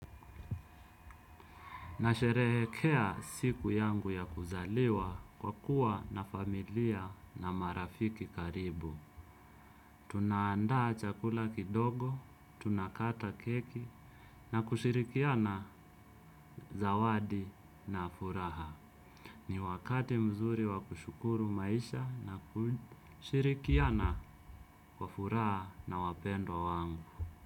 Nasherehekea siku yangu ya kuzaliwa kwa kuwa na familia na marafiki karibu. Tunaandaa chakula kidogo, tunakata keki na kushirikiana zawadi na furaha. Ni wakati mzuri wa kushukuru maisha na kushirikiana kwa furaha na wapendo wangu.